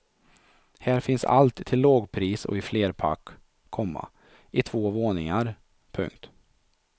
Här finns allt till lågpris och i flerpack, komma i två våningar. punkt